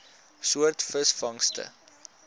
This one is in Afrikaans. soort visvangste